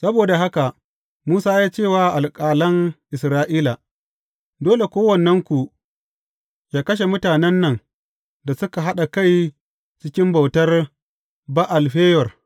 Saboda haka Musa ya ce wa alƙalan Isra’ila, Dole kowannenku yă kashe mutanen nan da suka haɗa kai cikin bautar Ba’al Feyor.